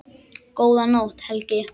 Góða nótt, Helgi.